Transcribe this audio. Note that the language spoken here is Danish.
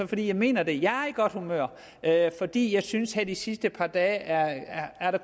fordi jeg mener det jeg er i godt humør fordi jeg synes at det sidste par dage har